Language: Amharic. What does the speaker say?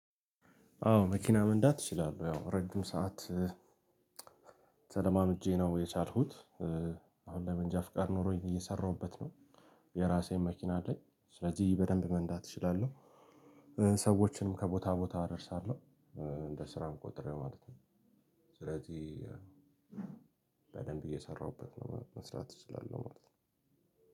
አዎ መኪና መንዳት እችላለሁ ያው ረጅም ሰዓት ተለማምጄ ነው የቻልኩት ለመንጃ ፍቃድ ኖሮኝ እየሰራሁበት ነው። የእራሴ መኪና አለኝ ስለዚህ በደንብ መንዳት እችላለሁ። ሰዎችንም ከቦታ ቦታ አደርሳለሁ እንደ ስራ ቆጥሬ ማለት ነው። ስለዚህ በደንብ እየሰራሁበት ነው መስራት እችላለሁ ማለት ነው።